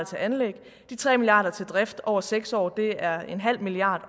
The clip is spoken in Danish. til anlæg og de tre milliard kroner til drift over seks år det er en halv milliard